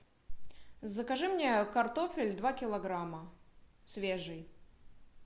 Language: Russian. закажи мне картофель два килограмма свежий